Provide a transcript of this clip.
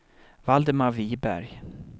Valdemar Wiberg